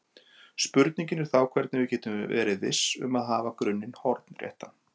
Spurningin er þá hvernig við getum verið viss um að hafa grunninn hornréttan.